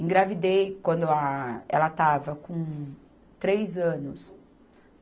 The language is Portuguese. Engravidei quando ela, ela estava com três anos.